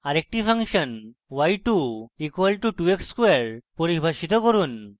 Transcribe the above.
আরেকটি function y2 = 2x square পরিভাষিত করুন